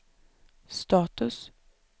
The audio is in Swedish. status